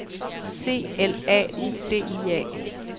C L A U D I A